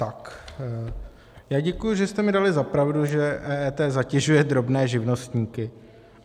Tak já děkuji, že jste mi dali za pravdu, že EET zatěžuje drobné živnostníky.